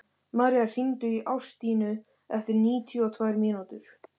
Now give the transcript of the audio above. Malía, hringdu í Ástínu eftir níutíu og tvær mínútur.